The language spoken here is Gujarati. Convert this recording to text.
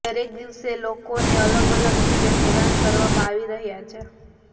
દરેક દિવસે લોકોને અલગ અલગ રીતે હેરાન કરવામાં આવી રહ્યા છે